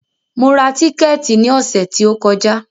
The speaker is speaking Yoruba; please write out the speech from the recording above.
Mo ra tíkẹ̀tì ní ọ̀sẹ̀ tí o kọjá.